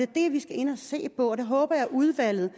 det vi skal ind og se på og håber udvalget